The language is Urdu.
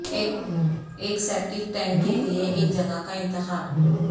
ایک سیپٹیک ٹینک کے لئے ایک جگہ کا انتخاب